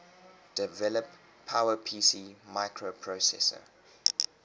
develop powerpc microprocessor